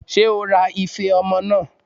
Ṣé o ra ife ọmọ náà?